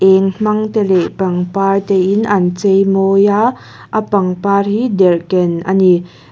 eng hmang te leh pangpar te in an cheimawi a a pangpar hi derhken ani.